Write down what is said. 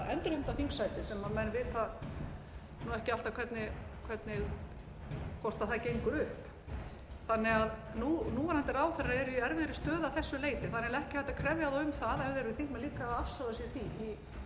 endurheimta þingsætið sem menn vita ekki alltaf hvort það gengur upp núverandi ráðherrar eru í erfiðri stöðu að þessu leyti þar er ekki hægt að krefja þá um það ef þeir eru þingmenn líka að afsala sér þingmennsku